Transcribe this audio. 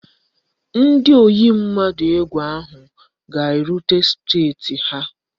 Ndị oyi ndụ egwu ahụ ga-erute steeti ha